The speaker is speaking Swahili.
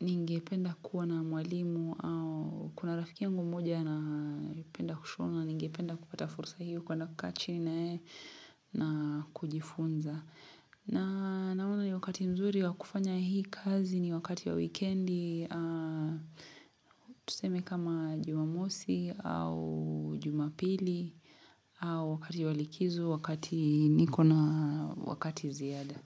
Ningependa kuwa na mwalimu au kuna rafiki yangu moja na penda kushona ningependa kupata fursa hiyo kuenda kukaa chini na ye na kujifunza na naona ni wakati mzuri wa kufanya hii kazi ni wakati wa weekendi Tuseme kama jumamosi au jumapili au wakati wa likizo wakati nikona wakati ziada.